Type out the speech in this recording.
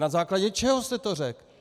Na základě čeho jste to řekl?